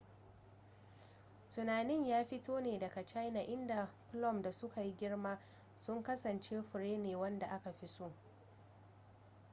tunanin ya fito ne daga china inda plum da suka yi girma sun kasance fure ne wanda aka fi so